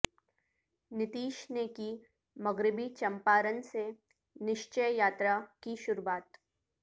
نتیش نے کی مغربی چمپارن سے نشچے یاترا کی شروعات